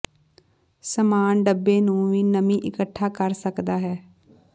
ਸਾਮਾਨ ਡੱਬੇ ਨੂੰ ਵੀ ਨਮੀ ਇਕੱਠਾ ਕਰ ਸਕਦਾ ਹੈ